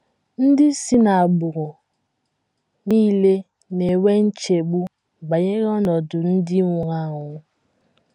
NDỊ si n’agbụrụ nile na - enwe nchegbu banyere ọnọdụ ndị nwụrụ anwụ.